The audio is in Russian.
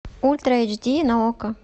ультра эйч ди на окко